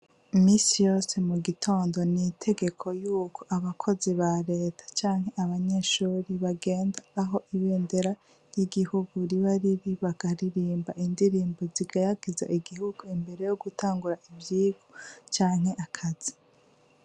Iminsi yose mu gitondo n'itegeko yuko abakozi ba reta canke abanyeshuri bagenda aho ibendera ry'igihugu riba riri bakaririmba indirimbo zihayagiza igihugu imbere yogutangura ivyigwa canke akazi.